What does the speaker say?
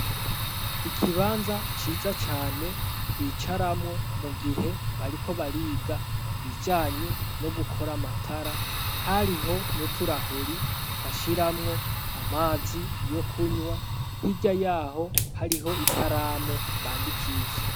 Ikibanza ciza cane bicaramwo mu gihe bariko bariga ibijanye no gukora amatara, hariho nuturahuri bashiramwo amazi yo kunywa, hirya yaho hariho ikaramu bandikishe.